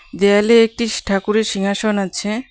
দেয়ালে একটিস ঠাকুরের সিংহাসন আছে .